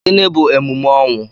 Gịnị bu emume ọnwụ?